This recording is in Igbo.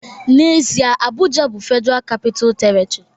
N'ezie, Abuja bụ Federal Capital Territory